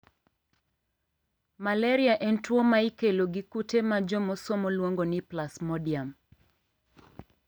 malaria en tuo ma ikelo gi kute ma jomosomo luongo ni plasmodium.